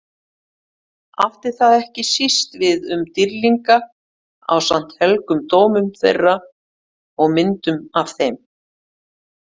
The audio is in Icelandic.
Átti það ekki síst við um dýrlinga ásamt helgum dómum þeirra og myndum af þeim.